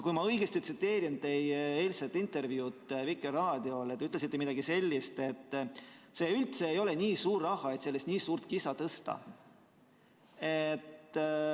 Kui ma tsiteerin õigesti teie eilset intervjuud Vikerraadiole, siis te ütlesite midagi sellist, et see ei ole üldse nii suur raha, et sellest nii suurt kisa tõsta.